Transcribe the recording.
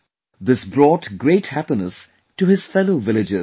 This brought great happiness to his fellow villagers too